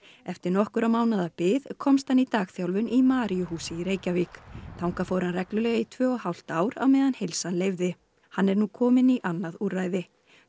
eftir nokkurra mánaða bið komst hann í dagþjálfun í Maríuhúsi í Reykjavík þangað fór hann reglulega í tvö og hálft ár á meðan heilsan leyfði hann er nú kominn í annað úrræði